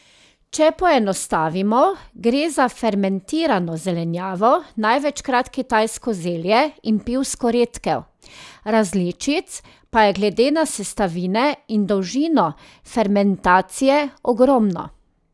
Če poenostavimo, gre za fermentirano zelenjavo, največkrat kitajsko zelje in pivsko redkev, različic pa je glede na sestavine in dolžino fermentacije ogromno.